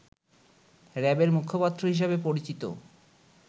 র‍্যাবের মুখপাত্র হিসেবে পরিচিত